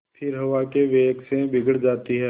फिर हवा के वेग से बिगड़ जाती हैं